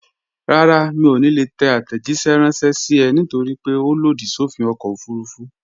Rárá, mi ò ní lè tẹ àtẹ̀jíṣẹ́ ránṣẹ́ sí ẹ nítorípé ó lòdì sófin ọkọ̀ òfurufú